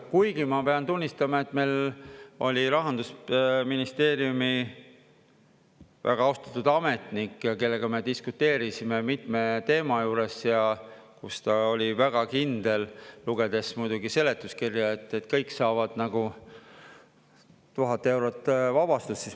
Kuigi ma pean tunnistama, et meil oli Rahandusministeeriumi väga austatud ametnik, kellega me diskuteerisime mitme teema juures, ja ta oli väga kindel, lugedes muidugi seletuskirja, et kõik saavad nagu 1000 eurot vabastust.